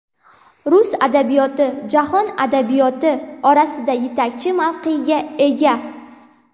Rus adabiyot jahon adabiyoti orasida yetakchi mavqega ega.